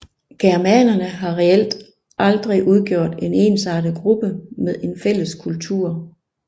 Germanerne har reelt aldrig udgjort en ensartet gruppe med en fælles kultur